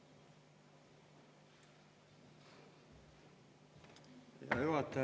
Hea juhataja!